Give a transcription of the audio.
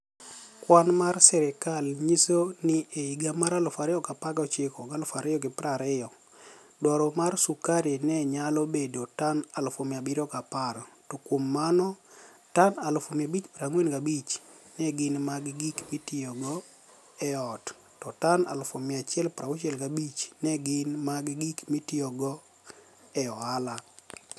Kwani mar sirkal niyiso nii e higa mar 2019/2020, dwaro mar sukari ni e niyalo bedo tani 710,000, to kuom mano, tani 545,000 ni e gini mag gik mitiyogo e ot, to tani 165,000 ni e gini mag gik mitiyogo e ohala.